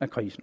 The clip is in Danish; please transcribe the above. af krisen